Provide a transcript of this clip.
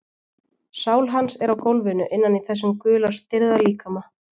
Sál hans er á gólfinu innan í þessum gula stirða líkama.